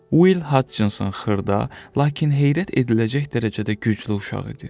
Will Hutchinson xırda, lakin heyrət ediləcək dərəcədə güclü uşaq idi.